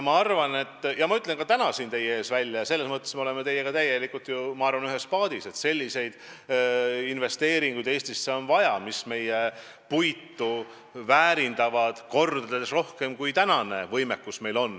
Aga ma ütlen selle täna siin teie ees välja – ja selles mõttes me oleme teiega ju, ma arvan, ühes paadis –, et Eestisse on väga vaja selliseid investeeringuid, mis võimaldavad meie puitu väärindada kordades rohkem, kui on praegune võimekus.